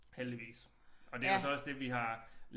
Heldigvis og det jo så også det vi har